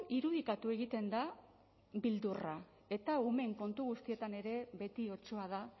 irudikatu egiten da beldurra eta umeen kontu guztietan ere beti otsoa da